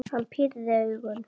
Hann pírði augun.